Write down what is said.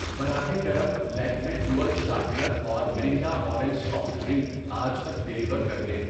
براہ کرم، Lakme dual sharpener اور مرینڈا اورنج سافٹ ڈرنک آج تک ڈیلیور کر دیں۔